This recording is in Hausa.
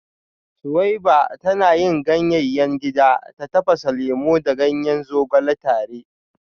Suweiba tana yin ganyayen gida ta tafasa lemu da ganyen zogale tare